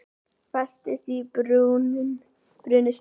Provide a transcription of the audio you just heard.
Festist í brunastiga